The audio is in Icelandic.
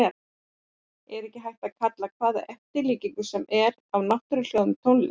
En það er ekki hægt að kalla hvaða eftirlíkingu sem er af náttúruhljóðum tónlist.